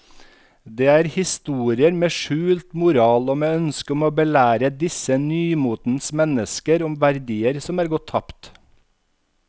Det er historier med skjult moral og med ønske om å belære disse nymotens mennesker om verdier som er gått tapt.